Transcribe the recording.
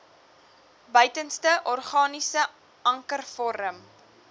buitenste organiese ankervorm